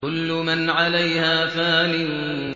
كُلُّ مَنْ عَلَيْهَا فَانٍ